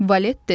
Valet dedi.